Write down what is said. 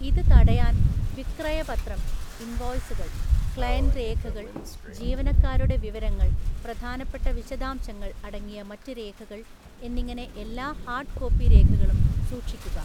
ഇത് തടയാൻ വിക്രയപത്രം (ഇൻവോയ്‌സുകൾ), ക്ലയന്റ് രേഖകൾ, ജീവനക്കാരുടെ വിവരങ്ങൾ, പ്രധാനപ്പെട്ട വിശദാംശങ്ങൾ അടങ്ങിയ മറ്റ് രേഖകൾ എന്നിങ്ങനെ എല്ലാ ഹാർഡ് കോപ്പി രേഖകളും സൂക്ഷിക്കുക.